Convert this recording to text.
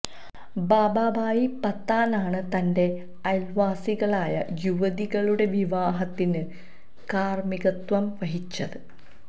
ബാബാഭായി പത്താനാണ് തന്റെ അയല്വാസികളായ യുവതികളുടെ വിവാഹത്തിന് കാര്മ്മികത്വം വഹിച്ചത്